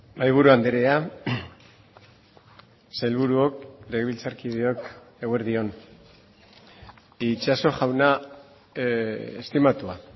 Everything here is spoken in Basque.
mahaiburu andrea sailburuok legebiltzarkideok eguerdi on itxaso jauna estimatua